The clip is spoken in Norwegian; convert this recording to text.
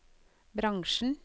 bransjen